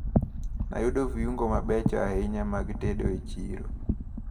Nayudo viungo mabecho ahinya mag tedo e chiro.